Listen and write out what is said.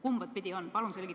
Kumba pidi on?